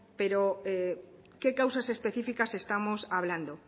pero qué causas especificas estamos hablando